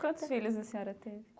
Quantos filhos a senhora teve?